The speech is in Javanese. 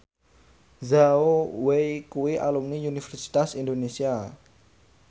Zhao Wei kuwi alumni Universitas Indonesia